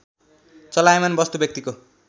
चलायमान वस्तु व्यक्तिको